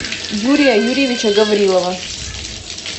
юрия юрьевича гаврилова